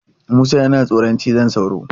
Musa yana tsoron cizon sauro.